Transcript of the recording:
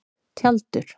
Tjaldur